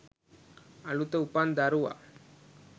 "අලුත උපන් දරුවා